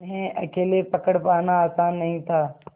उन्हें अकेले पकड़ पाना आसान नहीं था